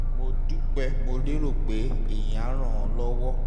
mo dúpẹ́ mo lérò pé èyí á ràn ọ́ lọ́wọ́